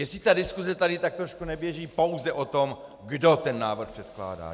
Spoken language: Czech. Jestli ta diskuse tady tak trošku neběží pouze o tom, kdo ten návrh předkládá.